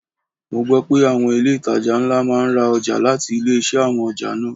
Mo gbo pé àwọn ilé itàjà ńlá máa ń ra ọjà láti ilé-iṣẹ́ àwọn ọjà náà.